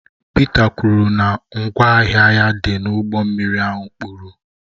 Pita kwuru na ngwa ahịa ya dị n'ụgbọ mmiri ahụ kpuru